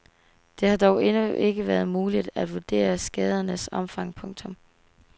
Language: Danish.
Det har dog endnu ikke været muligt at vurdere skadernes omfang. punktum